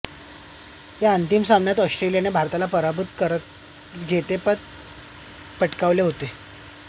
या अंतिम सामन्यात ऑस्ट्रेलियाने भारताला पराभूत करत जेतेपद पटकावले होते